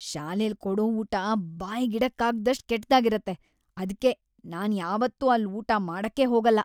ಶಾಲೆಲ್ ಕೊಡೋ ಊಟ ಬಾಯ್ಗಿಡಕ್ಕಾಗ್ದಷ್ಟ್‌ ಕೆಟ್ದಾಗಿರತ್ತೆ; ಅದ್ಕೆ ನಾನ್‌ ಯಾವತ್ತೂ ಅಲ್ಲ್ ಊಟ ಮಾಡಕ್ಕೇ ಹೋಗಲ್ಲ.